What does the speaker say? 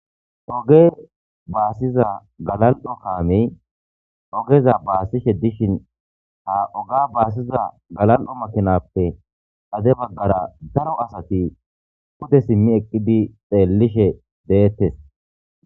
Oge baasiza galal'o kaamey ogeza baasishe dishin ha oga basiza galal'o makinazappe xade bagara daro asati pude simi eqidi xeelishe de'etes.